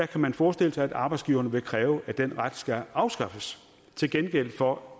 kan man forestille sig at arbejdsgiverne vil kræve at den ret skal afskaffes til gengæld for